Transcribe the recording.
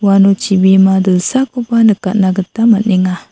ano chibima dilsakoba nikatna gita man·enga.